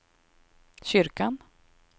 kyrkan